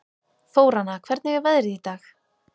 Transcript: Þóranna, hvernig er veðrið í dag?